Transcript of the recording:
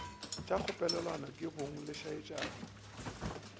tšo kgopelelwa ke bomang lešaetšana